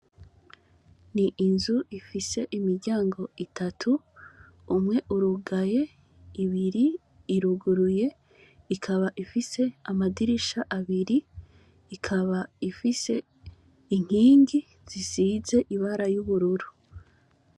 Ni inzu ifise imiryango utatu, umwe urugaye, ibiri iruguruye, ikaba ifise amadirisha abiri, ikaba ifise inkingi zisize ibara y'ubururu.